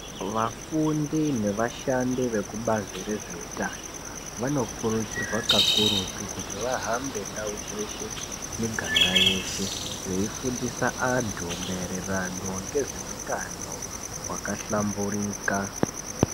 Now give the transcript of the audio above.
Vafundi nevashandi vekubazi rezveutano, vanokurudzirwa kakurutu kuti vahamba ndau dzeshe, miganga yeshe veifundisa antu maererano nezveutano hwakahlamburika.